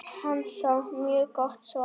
Hansa: Mjög gott svar.